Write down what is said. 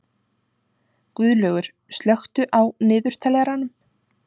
Guðlaugur, slökktu á niðurteljaranum.